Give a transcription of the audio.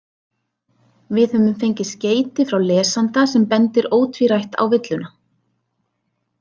Við höfum fengið skeyti frá lesanda sem bendir ótvírætt á villuna.